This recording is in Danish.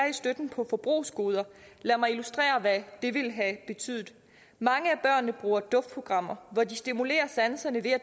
i støtten på forbrugsgoder lad mig illustrere hvad det ville have betydet mange af børnene bruger duftprogrammer hvor de stimulerer sanserne ved at